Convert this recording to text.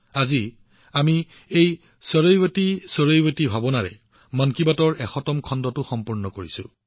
আজি আমি চৰৈৱতী চৰৈৱতীৰ একেই সত্বাৰ সৈতে মন কী বাতৰ শততম খণ্ডটো সম্পূৰ্ণ কৰিছো